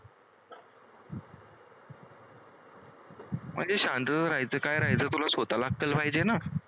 म्हणजे शांत राहायचं काय राहायचं तुला स्वतःला अक्कल पाहिजे ना?